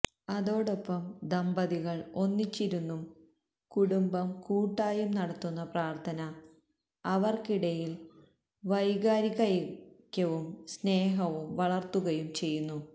അതോടൊപ്പം ദമ്പതികള് ഒന്നിച്ചിരുന്നും കുടുംബം കൂട്ടായും നടത്തുന്നപ്രാര്ഥന അവര്ക്കിടയില് വൈകാരികൈക്യവും സ്നേഹവും വളര്ത്തുകയും ചെയ്യുന്നു